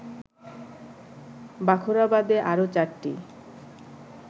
বাখরাবাদে আরো ৪টি